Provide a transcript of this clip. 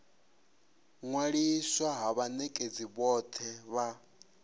ṅwaliswa ha vhanekedzi vhothe vha